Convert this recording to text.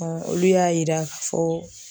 olu y'a yira k'a fɔ